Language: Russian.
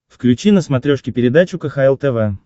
включи на смотрешке передачу кхл тв